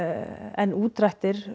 en útdrættir